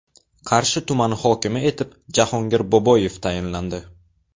Qarshi tumani hokimi etib Jahongir Boboyev tayinlandi.